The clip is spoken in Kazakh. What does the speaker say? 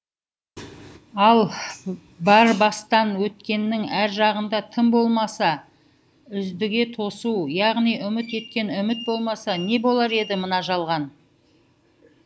ал бар бастан өткеннің әр жағында тым болмаса үздіге тосу яғни үміт еткен үміт болмаса не болар еді мына жалған